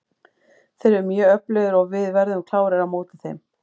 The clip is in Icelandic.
Þeir eru mjög öflugir og við verðum klárir á móti þeim.